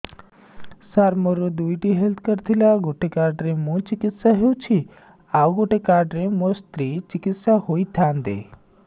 ସାର ମୋର ଦୁଇଟି health card ଥିଲା ଗୋଟେ କାର୍ଡ ରେ ମୁଁ ଚିକିତ୍ସା ହେଉଛି ଆଉ ଗୋଟେ କାର୍ଡ ରେ ମୋ ସ୍ତ୍ରୀ ଚିକିତ୍ସା ହୋଇଥାନ୍ତେ